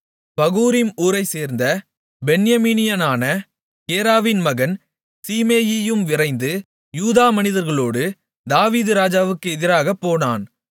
பகூரிம் ஊரைச்சேர்ந்த பென்யமீனியனான கேராவின் மகன் சீமேயியும் விரைந்து யூதா மனிதர்களோடு தாவீது ராஜாவுக்கு எதிராகப்போனான்